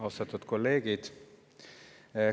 Austatud kolleegid!